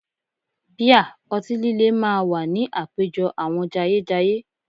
Bíà, ọtí líle máa wà ní àpéjọ àwọn jayéjayé